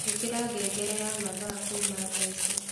ĩkira ngngere ya mathaa kuuma thaici